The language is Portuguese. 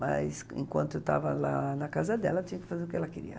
Mas enquanto eu estava lá na casa dela, eu tinha que fazer o que ela queria.